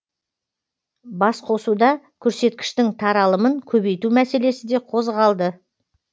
басқосуда көрсеткіштің таралымын көбейту мәселесі де қозғалды